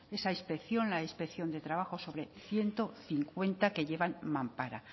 esa inspección la inspección de trabajo sobre ciento cincuenta que llevan mampara